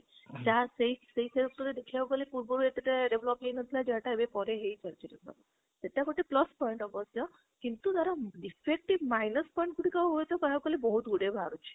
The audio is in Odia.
ଯାହା ସେଇ ସେଇ ରେ ଦେଖିବାକୁ ଗଲେ ପୁର୍ବରେ ଏତେ ଟା develop ହେଇ ନଥିଲା ଯାହା ଟା ପରେ ହେଇ ସାରିଛି develop ଏଟା ଗୋଟେ plus point ମଧ୍ୟ କିନ୍ତୁ ତାର defect ଟି minus point ଗୁଟିକ କହିବାକୁ ଗଲେ ବହୁତ ଗୁଡ଼େ ବାହାରୁଛି